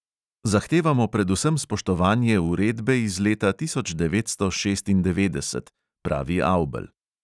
Zahtevamo predvsem spoštovanje uredbe iz leta tisoč devetsto šestindevetdeset, pravi avbelj.